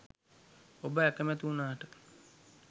ඔබ අකමැති වුණාට